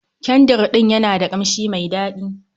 Kyandrin ɗin yana da kamshi mai dadi.